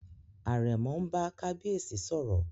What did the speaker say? Àrẹ̀mọ n bá kábíyèsí sọ̀rọ̀